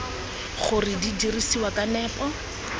gore di dirisiwa ka nepo